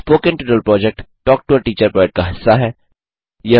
spoken tutorial project talk to a teacher project का हिस्सा है